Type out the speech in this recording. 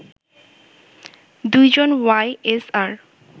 ২ জন Y SR